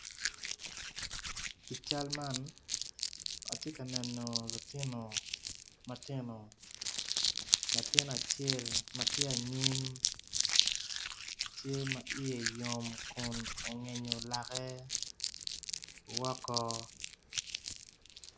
I cal man atye ka neno lutino matino latin acel ma tye anyim tye ma iye yomo kun tye ka ongeyo lake woko.